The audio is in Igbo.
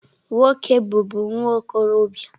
Nwoke bụbu nwa okorobịa.